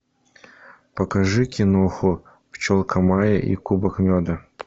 покажи киноху пчелка майя и кубок меда